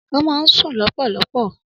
Ọmọ ọ̀sẹ̀ kan máa ń sùn lọ́pọ̀lọpọ̀